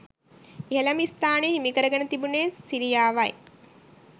ඉහළම ස්ථානය හිමිකරගෙන තිබුණේ සිරියාවයි